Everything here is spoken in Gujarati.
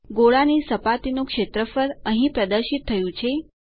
ગોળાની સપાટીનું ક્ષેત્રફળ અહીં પ્રદર્શિત થયું છે